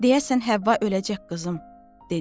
Deyəsən Həvva öləcək qızım dedi.